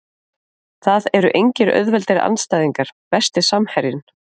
Það eru engir auðveldir andstæðingar Besti samherjinn?